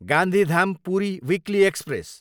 Gandhidham, Puri weekly express